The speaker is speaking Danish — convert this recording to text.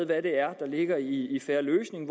hvad det er der ligger i en fair løsning